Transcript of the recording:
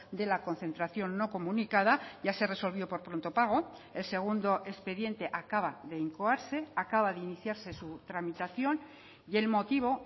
de la concentración no comunicada ya se resolvió por pronto pago el segundo expediente acaba de incoarse acaba de iniciarse su tramitación y el motivo